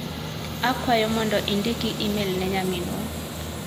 Akwayo mondo indiki imel ne nyaminwa.